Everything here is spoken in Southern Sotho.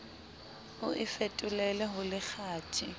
o e fetolele ho lekgathe